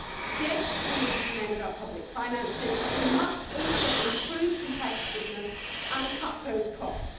Yes, we need to mend our public finances, but we must also improve competitiveness and cut those costs.